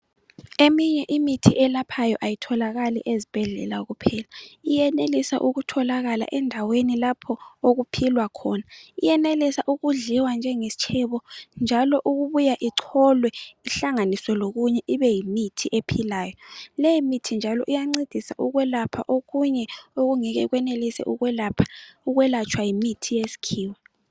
Eminye imithi elaphayo ayitholakali ezibhedlela kuphela iyenelisa ukutholakala endaweni lapho okuphilwa khona iyenelisa ukudliwa njengesitshebo njalo ukubuya igcolwe ihlanganiswe lokunye ibe yimithi ephilayo leyi mithi njalo iyancedisa ukwelapha okunye okungeke kwenelise ukwelatshwa yimithi yesikhiwa.